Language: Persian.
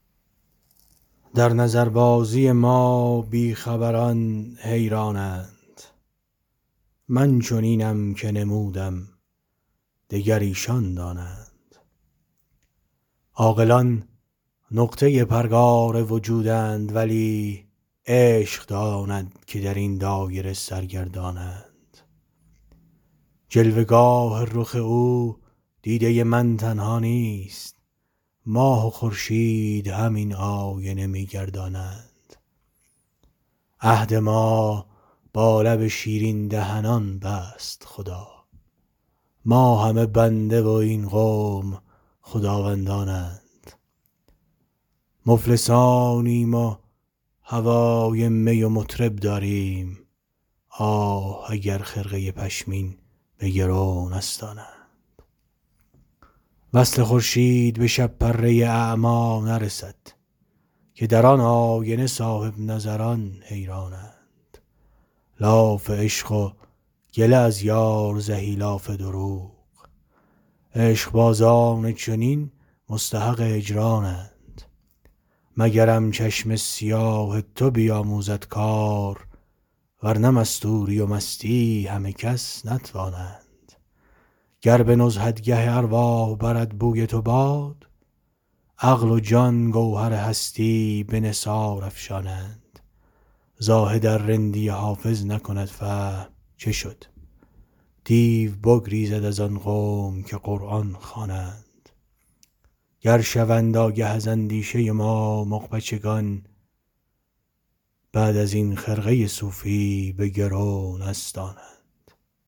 در نظربازی ما بی خبران حیران اند من چنینم که نمودم دگر ایشان دانند عاقلان نقطه پرگار وجودند ولی عشق داند که در این دایره سرگردان اند جلوه گاه رخ او دیده من تنها نیست ماه و خورشید همین آینه می گردانند عهد ما با لب شیرین دهنان بست خدا ما همه بنده و این قوم خداوندان اند مفلسانیم و هوای می و مطرب داریم آه اگر خرقه پشمین به گرو نستانند وصل خورشید به شب پره اعمی نرسد که در آن آینه صاحب نظران حیران اند لاف عشق و گله از یار زهی لاف دروغ عشق بازان چنین مستحق هجران اند مگرم چشم سیاه تو بیاموزد کار ورنه مستوری و مستی همه کس نتوانند گر به نزهتگه ارواح برد بوی تو باد عقل و جان گوهر هستی به نثار افشانند زاهد ار رندی حافظ نکند فهم چه شد دیو بگریزد از آن قوم که قرآن خوانند گر شوند آگه از اندیشه ما مغ بچگان بعد از این خرقه صوفی به گرو نستانند